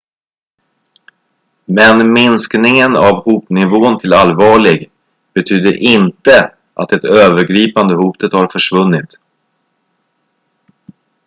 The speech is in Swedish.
"""men minskningen av hotnivån till allvarlig betyder inte att det övergripande hotet har försvunnit"".